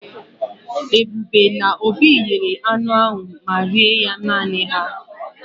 Ebube na Obi yere anu ma rie ya nani ha.